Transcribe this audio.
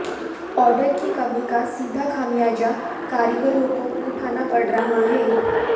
order की कमी का सीधा खामियाजा कारीगरों को उठाना पड़ रहा है